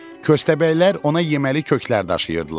Kösəbəylər ona yeməli köklər daşıyırdılar.